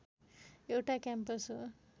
एउटा क्याम्पस हो